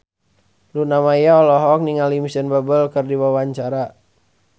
Luna Maya olohok ningali Micheal Bubble keur diwawancara